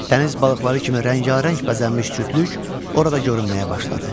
Dəniz balıqları kimi rəngarəng bəzənmiş cütlük orada görünməyə başladı.